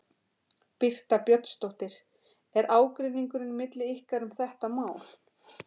Birta Björnsdóttir: Er ágreiningur milli ykkar um þetta mál?